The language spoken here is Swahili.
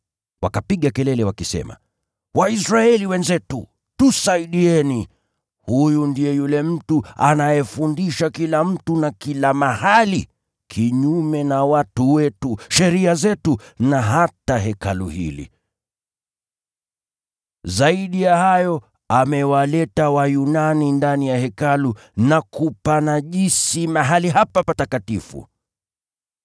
Wakapiga kelele wakisema, “Waisraeli wenzetu, tusaidieni! Huyu ndiye yule mtu anayefundisha kila mtu na kila mahali, kinyume na watu wetu, sheria zetu na hata Hekalu hili. Zaidi ya hayo amewaleta Wayunani ndani ya Hekalu na kupanajisi mahali hapa patakatifu.”